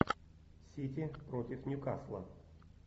сити против ньюкасла